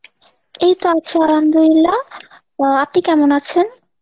এইতো আছি আলহামদুলিল্লাহ, আহ আপনি কেমন আছেন?